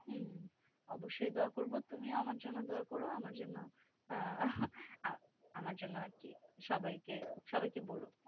হম অবশ্যই দুয়া কর তুমিও আমার জন্য দুয়া করো আমার জন্য আর কি সবাই কে সবাই কে বল